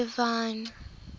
divine